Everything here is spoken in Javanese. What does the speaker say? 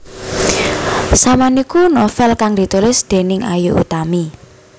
Saman iku novél kang ditulis déning Ayu Utami